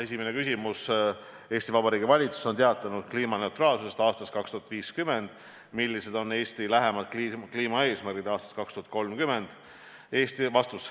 Esimene küsimus: "Eesti Vabariigi valitsus on teatanud kliimaneutraalsusest aastaks 2050. Millised on Eesti lähemad kliimaeesmärgid aastaks 2030?